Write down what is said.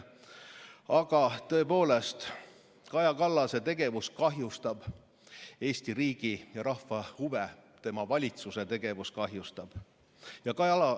Aga tõepoolest, Kaja Kallase tegevus kahjustab Eesti riigi ja rahva huve, kogu tema valitsuse tegevus kahjustab neid.